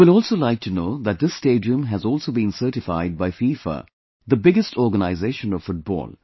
You will also like to know that this stadium has also been certified by FIFA, the biggest organization of football